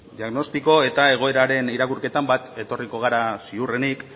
diagnostiko eta egoeraren irakurketan bat etorriko gara ziurrenik